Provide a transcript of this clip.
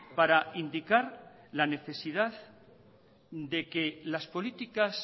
para indicar la necesidad de que las políticas